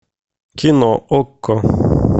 кино окко